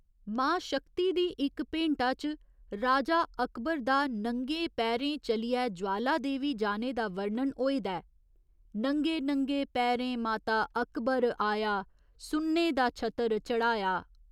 मां शक्ति दी इक भेंटा च राजा अकबर दा नंगें पैरें चलियै ज्वाला देवी जाने दा वर्णन होए दा ऐ, नंगे नंगे पैरें माता अकबर आया सुन्ने दा छतर चढ़ाया।